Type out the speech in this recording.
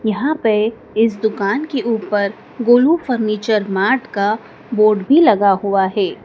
यहां पे इस दुकान की ऊपर गोलू फर्नीचर मार्ट का बोर्ड भी लगा हुआ है।